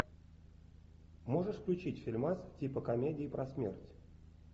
можешь включить фильмас типа комедии про смерть